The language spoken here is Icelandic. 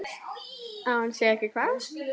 Að hún sé ekki hvað?